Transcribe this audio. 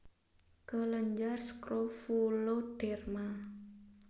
kelenjar skrofuloderma